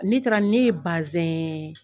Ni taara ne ye bazɛn